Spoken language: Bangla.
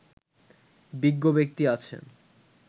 বিজ্ঞ ব্যক্তি আছেন